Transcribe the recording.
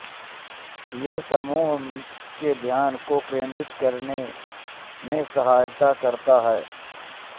ये समूह के ध्यान को केंद्रित करने में सहायता करते है